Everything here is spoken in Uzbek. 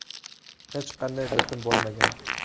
Hech qanday bitim bo‘lmagan.